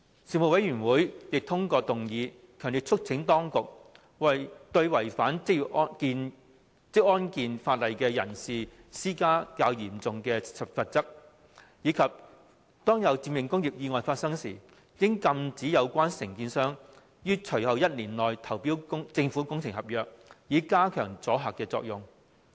事務委員會亦通過議案，強烈促請當局加重對違反職安健法例人士的罰則，並禁止涉及致命工業意外的承建商於緊隨意外發生後1年內投標政府工程合約，以加強阻嚇作用。